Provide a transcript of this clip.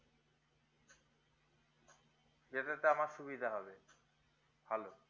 যেটাতে আমার সুবিধা হবে ভালো